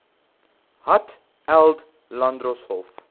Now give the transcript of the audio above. hat eld landdroshof